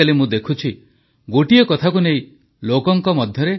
କୋଇଲା ମହାକାଶ ଓ କୃଷି କ୍ଷେତ୍ରକୁ ଅନଲକ କରିବା ପାଇଁ ଅନେକ ଐତିହାସିକ ପଦକ୍ଷେପ ନେଇଛନ୍ତି ସରକାର